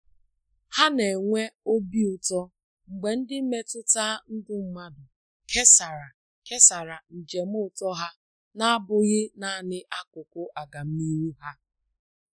Ha na -enwe obi ụtọ mgbe ndị mmetụta ndụ mmadụ kesara kesara njem ụtọ ha na-abụghị naanị akụkụ agamnihu ha.